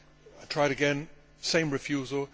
I tried again same refusal.